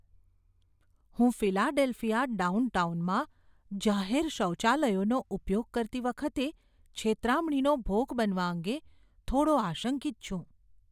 હું ફિલાડેલ્ફિયા ડાઉનટાઉનમાં જાહેર શૌચાલયોનો ઉપયોગ કરતી વખતે છેતરામણીનો ભોગ બનવા અંગે થોડો આશંકિત છું.